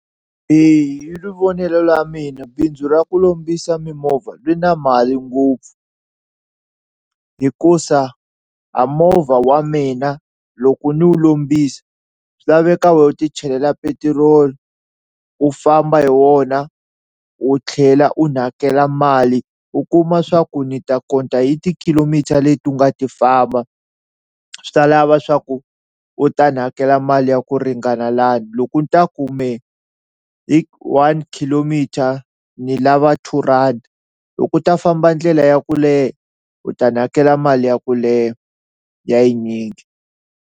Eya hi ri vonelo ra mina bindzu ra ku lombisa mimovha ri na mali ngopfu hikusa a movha wa mina loko ni wu lombisa swi laveka wehe u ti chelela petiroli u famba hi wona u tlhela u ni hakela mali u kuma swa ku ni ta hi ti-kilometer leti u nga ti famba, swi ta lava swa ku u ta ni hakela mali ya ku ringana loko ni ta kume hi one kilometer ni lava two rhandi loko u ta famba ndlela ya ku leha u ta ni hakela mali ya ku leha ya yinyingi.